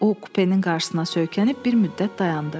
O kupenin qarşısına söykənib bir müddət dayandı.